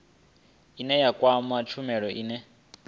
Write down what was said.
ine ya kwama tshumelo ine